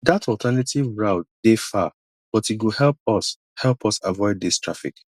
dat alternative route dey far but e go help us help us avoid dis traffic